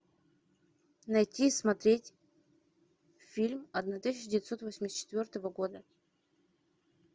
найти и смотреть фильм одна тысяча девятьсот восемьдесят четвертого года